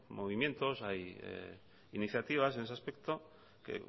movimientos hay iniciativas en ese aspecto que